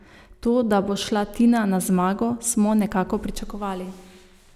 To, da bo šla Tina na zmago, smo nekako pričakovali.